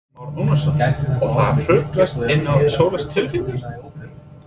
Kristján Már Unnarsson: Og það hrúgast inn svoleiðis tilkynningar?